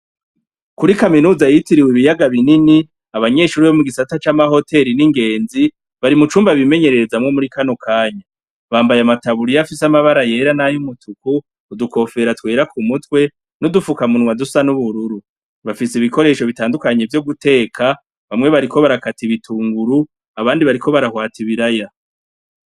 Kuri kaminuza yitiriwe ibiyaga binini, abanyeshure bo mu gisata c'amahoteri n'ingezi bari mu cumba bimenyerezamwo muri kano kanya, bambaye amataburiya afise amatara yera nay'ubururu, udukofera twera k'umutwe, n'udufuka munwa dusa n'ubururu, bafise ibikoresho bitandukanye vyo guteka, bamwe bariko barakata ibitunguru abandi bariko barahwata ibiraya.